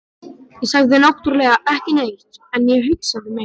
Ég sagði náttúrlega ekki neitt, en ég hugsaði mitt.